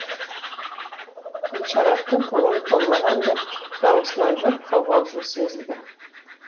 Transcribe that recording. гүлшараттың көңілі толмағандай даусынан бір қобалжу сезілді